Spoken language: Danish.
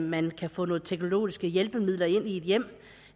man kan få nogle teknologiske hjælpemidler ind i et hjem